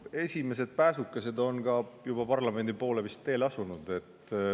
No esimesed pääsukesed on ka vist juba parlamendi poole teele asunud.